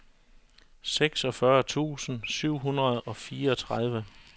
seksogfyrre tusind syv hundrede og fireogtredive